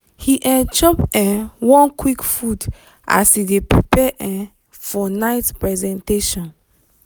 he um chop um one quick food as he dey prepare um for night presentation.